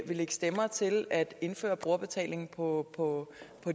stemmer til at indføre brugerbetaling på på